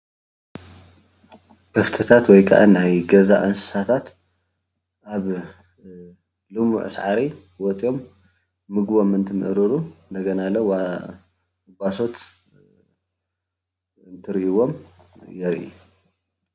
ከፍቲታት ወይከዓ ናይ ገዛ እንስሳታት ኣብ ልሙዕ ሳዕሪ ወፂኦም ምግቦም እንትምእርሩ እንደገናለ ጓሶት እንትርእይዎም የሪኢ።